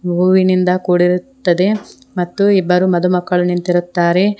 ಹೂವಿನಿಂದ ಕೂಡಿರುತ್ತದೆ ಮತ್ತು ಇಬ್ಬರು ಮದು ಮಕ್ಕಳ ನಿಂತಿರುತ್ತಾರೆ.